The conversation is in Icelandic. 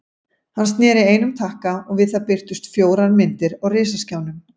Hann sneri einum takka og við það birtust fjórar myndir á risaskjánum.